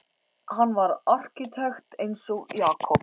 Hann var arkitekt eins og Jakob.